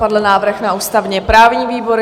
Padl návrh na ústavně-právní výbor.